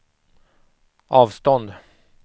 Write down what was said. avstånd